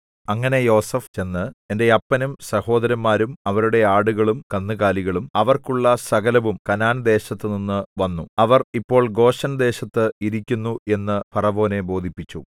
അങ്ങനെ യോസേഫ് ചെന്ന് എന്റെ അപ്പനും സഹോദരന്മാരും അവരുടെ ആടുകളും കന്നുകാലികളും അവർക്കുള്ള സകലവും കനാൻദേശത്തുനിന്നു വന്നു അവർ ഇപ്പോൾ ഗോശെൻദേശത്ത് ഇരിക്കുന്നു എന്നു ഫറവോനെ ബോധിപ്പിച്ചു